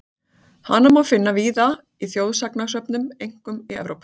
Hana má finna víða í þjóðsagnasöfnum, einkum í Evrópu.